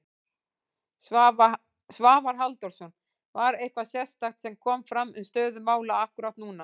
Svavar Halldórsson: Var eitthvað sérstakt sem kom fram um stöðu mála akkúrat núna?